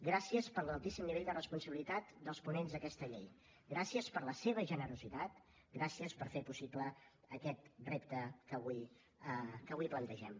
gràcies per l’altíssim nivell de responsabilitat dels ponents d’aquesta llei gràcies per la seva generositat gràcies per fer possible aquest repte que avui plantegem